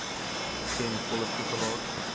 ten volle toegelaat